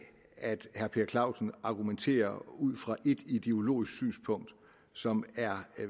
at herre per clausen argumenterer ud fra ét ideologisk synspunkt som er